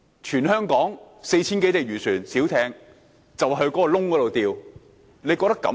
全香港 4,000 多艘漁船和小艇，現時便在那個洞中釣魚。